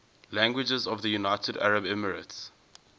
languages of the united arab emirates